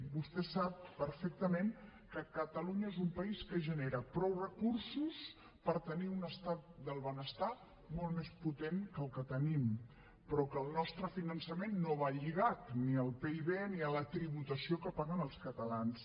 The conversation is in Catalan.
vostè sap perfectament que catalunya és un país que genera prou recursos per tenir un estat del benestar molt més potent que el que tenim però que el nostre finançament no va lligat ni al pib ni a la tributació que paguen els catalans